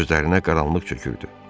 Gözlərinə qaranlıq çökürdü.